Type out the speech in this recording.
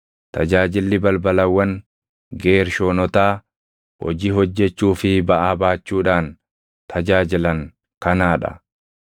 “Tajaajilli balbalawwan Geershoonotaa hojii hojjechuu fi baʼaa baachuudhaan tajaajilan kanaa dha: